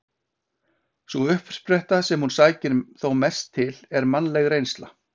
Sú uppspretta sem hún sækir þó mest til er mannleg reynsla.